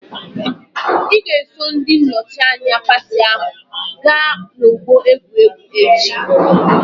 Ị ga-eso ndị nnọchianya pati ahụ gaa n'ọgbọ egwuregwu echi!